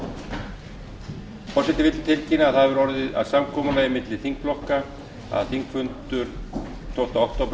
forseti vill tilkynna að það hefur orðið að samkomulagi milli þingflokka að þingfundur tólfti október